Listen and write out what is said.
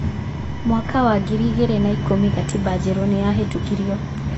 Mwaka wa ngiri igĩrĩ na ikũmi, gatiba njerũ nĩ yahetũkirio.